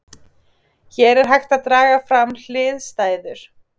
Hér er hægt að draga fram hliðstæður.